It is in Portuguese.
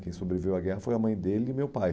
Quem sobreviveu à guerra foi a mãe dele e meu pai.